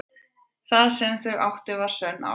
Það sem þau áttu var sönn ást.